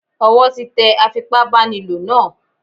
Ọwọ́ tí tẹ afipá báni lò náà.